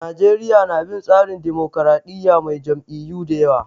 Najeriya na bin tsarin dimokuradiyya mai jam'iyyu da yawa.